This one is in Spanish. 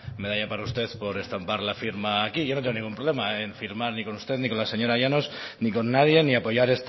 medalla para usted por estampar la firma a aquí yo no tengo ningún problema en firmar ni con usted ni con la señora llanos ni con nadie ni apoyar